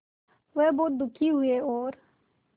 वह बहुत दुखी हुए और